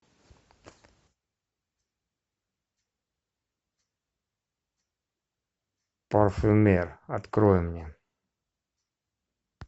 парфюмер открой мне